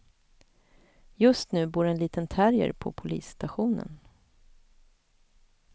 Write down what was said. Just nu bor en liten terrier på polisstationen.